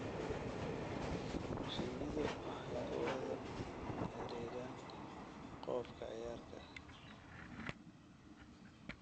Shinnidu waxay ku wada xidhiidhaan qoob ka ciyaarka.